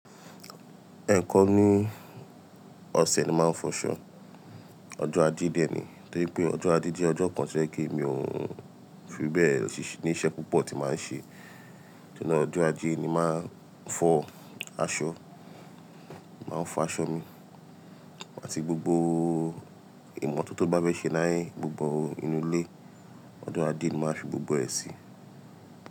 Eẹ̀kan ni ọ̀sẹ̀ ni mo màá n fọ̀ ṣọ́, ọjọ́ ajé dẹ̀ ni. Torí pé ọjọ́ ajé jẹ́ ọjọ́ kan to jẹ pe mi ò n fí bẹ́ẹ̀ ní iṣẹ́ púpọ̀ tí màá n ṣe. Tori naà ọjọ́ ajé ni màá n fọ̀ aṣọ, mo màá n fọ̀ aṣọ mi àti gbogbo ìmọ̀tọ̀ tin bá fẹ́ ṣe ni, gbogbo inú ilé ọjọ́ ajé ni màá fi gbogbo ẹ sí.